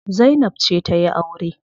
Zainab ce za tayi aure.